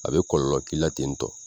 A bɛ kɔlɔlɔ k'i la ten tɔ